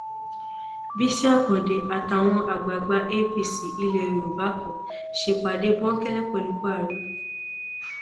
bísí àkàdé àtàwọn àgbààgbà apc ilẹ yorùbá kan ṣèpàdé bòńkẹlẹ pẹlú buhari